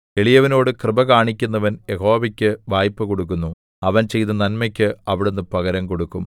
എളിയവനോട് കൃപ കാണിക്കുന്നവൻ യഹോവയ്ക്ക് വായ്പ കൊടുക്കുന്നു അവൻ ചെയ്ത നന്മയ്ക്ക് അവിടുന്ന് പകരം കൊടുക്കും